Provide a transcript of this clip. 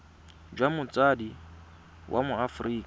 jwa motsadi wa mo aforika